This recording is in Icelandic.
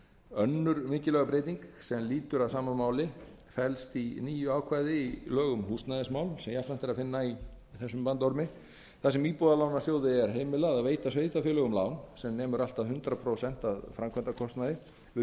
önnur mikilvæg breyting sem lýtur að sama máli felst í nýju ákvæði í lög um húsnæðismál þar sem íbúðalánasjóður fær heimild til að veita sveitarfélögum lán sem nemur allt að hundrað prósent af framkvæmdakostnaði við